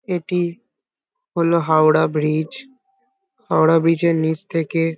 এটি হলো Howrah bridge Howrah bridge এর নিচ থেকে --